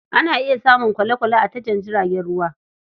Ana iya samun kwale+kwale a tashar jiragen ruwa.